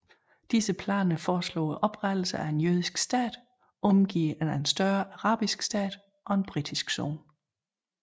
Disse planer foreslog oprettelsen af en jødisk stat omgivet af en større arabisk stat og en britisk zone